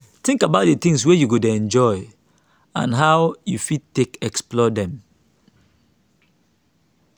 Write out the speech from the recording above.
think about di things wey you dey enjoy and how how you fit take explore them